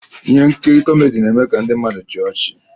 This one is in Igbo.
Ihe nkiri kọmedi na-eme ka ndị mmadụ chịa ọchị.